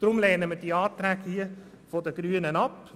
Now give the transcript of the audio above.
Deshalb lehnen wir die diesbezüglichen Anträge der Grünen ab.